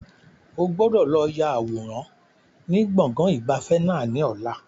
O gbọ́dọ̀ lọ ya àwòrán ni gbọ̀ngàn ìgbafẹ́ náà ni ọ̀la!